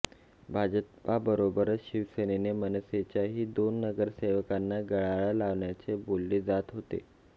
भाजपाबरोबरच शिवसेनेने मनसेच्याही दोन नगरसेवकांना गळाला लावल्याचे बोलले जात होते